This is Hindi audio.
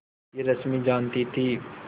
यह रश्मि जानती थी